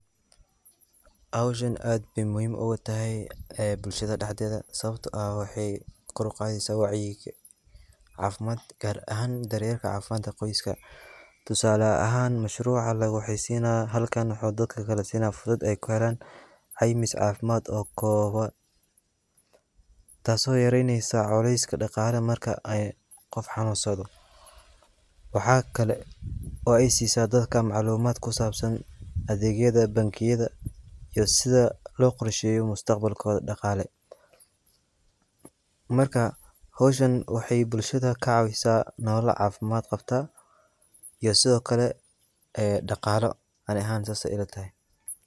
Hoshan ad bay muhiim oga tahay aa bulshada daxdada sawabta ah waxay gor uqadasah wacyigalin cafimad gar ahan daryalka cafimdka qoyska, tusala ahan mashruqa lagu xisan halkan dadka sina fursad aya ku halan caymis cafmad oo gowan, taaso yaraynaso culaska daqli marka ay qof xanusadoh, wax kle oo ay sisah dadka maclumada ku sabsan adagyada bankiyada iyo side lo qorshayo mustaqbal koda daqali, marka hoshan waxay bulshda ka cawisah nolol cafimad qabtah iyo side okle a daqalo adiga ahan saas ayay ila tahay.